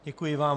Děkuji vám.